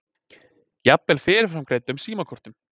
Jafnvel fyrirframgreiddum símakortum.